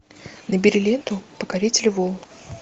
набери ленту покоритель волн